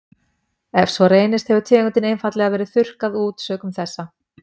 ef svo reynist hefur tegundin einfaldlega verið þurrkað út sökum þessa